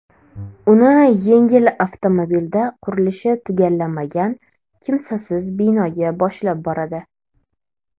Uni yengil avtomobilda qurilishi tugallanmagan kimsasiz binoga boshlab boradi.